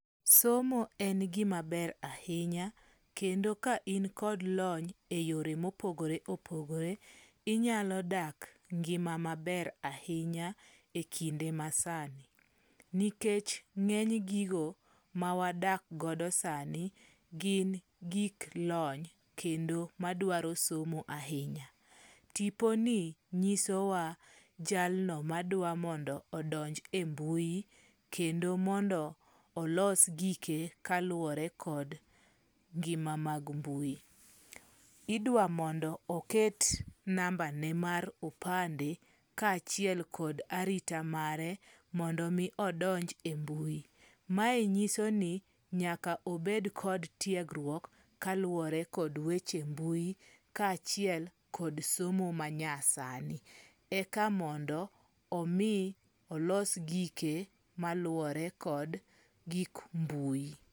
Somo en gima ber ahinya kendo ka in kod lony eyore mopogore opogore, inyalo dak engima maber ahinya ekinde masani, nikech ng'eny gigo mawadak godo sani, gin gik lony kendo madwaro somo ahinya. Tiponi nyisowa jalno madwa mondo odonj e mbui kendo mondo olos gike kaluwore kod ngima mag mbui. Idwa mondo oket nambane mar opande, kaachiel kod arita mare mondo mi odonj e mbui. Mae nyiso ni nyaka obed kod tiegruok kaluwore kod weche mbui kaachiel kod somo manyasani, eka mondo omi olos gike maluwore kod gik mbui.